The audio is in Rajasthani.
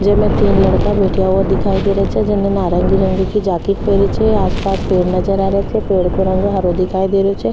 जेमे तीन लड़का बैठ्या हुआ दिखाई दे रो छे जेमे नौरंगी रंग की जैकेट पहनी छे आस पास पेड़ नजर आ रेहा छे पेड़ को रंग हरो दिखाई दे रो छे।